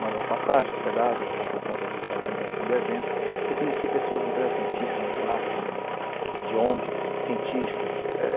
mando uma passagem, uma hospedagem, vou por conta do da organização do evento, e conheci pessoas interessantíssimas lá, de ongs, cientistas.